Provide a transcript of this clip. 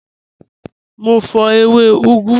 Mọ̀ n fọ̀ ẹwẹ̀ ugù